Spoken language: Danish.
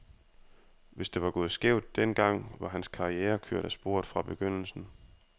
Hvis det var gået skævt den gang, var hans karriere kørt af sporet fra begyndelsen.